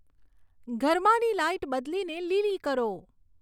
ઘરમાંની light બદલીને લીલી કરો